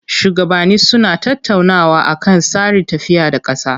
Shuwagabanni suna tattaunawa akan tsarin tafiya da ƙasa.